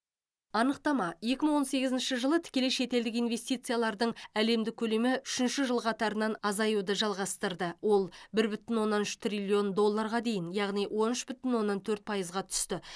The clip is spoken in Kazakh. анықтама екі мың он сегізінші жылы тікелей шетелдік инвестициялардың әлемдік көлемі үшінші жыл қатарынан азаюды жалғастырды ол бір бүтін оннан үш триллион долларға дейін яғни он үш бүтін оннан төрт пайызға түсті